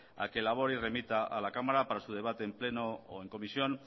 a que elabore y remita a la cámara para su debate en pleno o en comisión